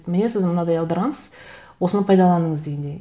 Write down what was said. міне сіз мынадай аударғансыз осыны пайдаланыңыз дегендей